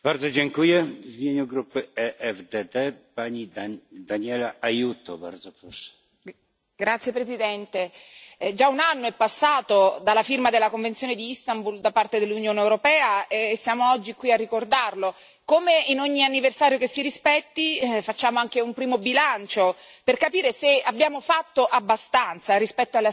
Signor Presidente, onorevoli colleghi, già un anno è passato dalla firma della Convenzione di Istanbul da parte dell'Unione europea e siamo oggi qui a ricordarlo. Come in ogni anniversario che si rispetti, facciamo anche un primo bilancio per capire se abbiamo fatto abbastanza rispetto alle aspettative.